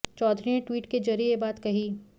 चौधरी ने ट्वीट के जरिए यह बात कही